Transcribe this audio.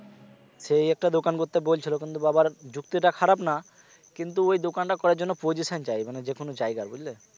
সেই একটা দোকান করতে বলছিল কিন্তু বাবার যুক্তিটা খারাপ না কিন্তু ওই দোকানটা করার জন্য position চাই মানে যেকোন জায়গায় বুঝলে